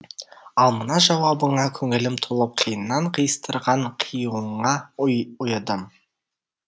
ал мына жауабыңа көңілім толып қиыннан қиыстырған қиюыңа ұйыдым